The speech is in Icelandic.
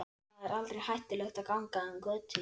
Þar er aldrei hættulegt að ganga um götur.